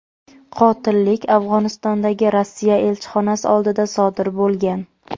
qotillik Afg‘onistondagi Rossiya elchixonasi oldida sodir bo‘lgan.